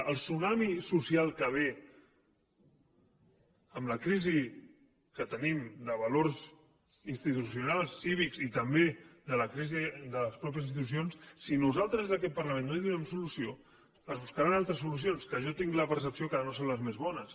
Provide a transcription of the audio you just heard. al tsunami social que ve amb la crisi que tenim de valors institucionals cívics i també de la crisi de les mateixes institucions si nosaltres des d’aquest parlament no hi donem solució es buscaran altres solucions que jo tinc la percepció que no són les més bones